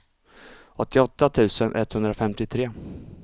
åttioåtta tusen etthundrafemtiotre